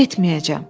Getməyəcəm.